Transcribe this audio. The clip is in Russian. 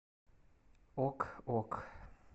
ок ок